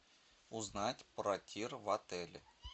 узнать про тир в отеле